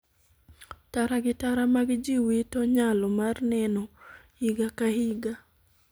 Tara gi Tara mag jii wito nyalo mar neno higa ka higa.